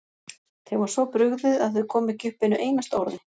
Þeim var svo brugðið að þau komu ekki upp einu einasta orði.